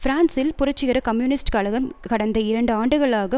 பிரான்சில் புரட்சிகர கம்யூனிஸ்ட கழகம் கடந்த இரண்டு ஆண்டுகளாக